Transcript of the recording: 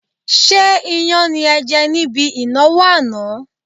Ṣé iyán ni ẹ jẹ̀ níbi ìnáwó àná?